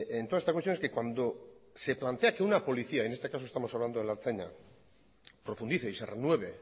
en toda esta cuestión es que cuando se plantea que una policía y en este caso estamos hablando de la ertzaintza profundice y se renueve